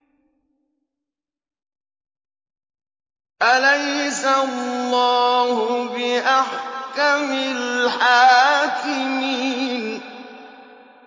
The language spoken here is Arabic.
أَلَيْسَ اللَّهُ بِأَحْكَمِ الْحَاكِمِينَ